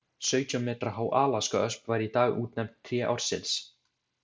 Sautján metra há alaskaösp var í dag útnefnd tré ársins.